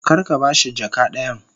Kar ka ba shi jaka dayan.